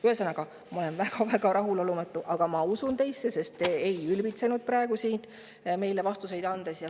Ühesõnaga, ma olen väga-väga rahulolematu, aga ma usun teisse, sest te ei ülbitsenud siin meile vastuseid andes.